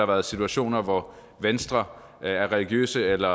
været situationer hvor venstre af religiøse eller